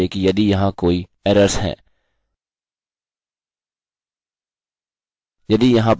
और हम क्या करेंगे कि हम इस error वेरिएबल को इस्तेमाल करेंगे यह देखने के लिए कि यदि यहाँ कोई एरर्सerrors हैं